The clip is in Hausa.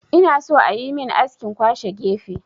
Ina so ayi min askin kwashe gefe